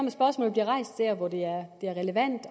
hvor det er relevant